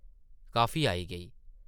Coffee आई गेई ।